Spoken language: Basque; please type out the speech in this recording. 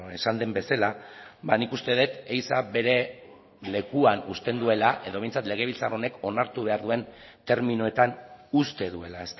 esan den bezala nik uste dut ehiza bere lekuan uzten duela edo behintzat legebiltzar honek onartu behar duen terminoetan uzte duela